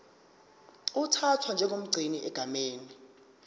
uthathwa njengomgcini egameni